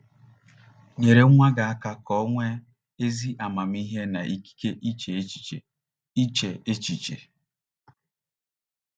Nyere nwa gị aka ka o nwee “ ezi amamihe na ikike iche echiche. iche echiche. ”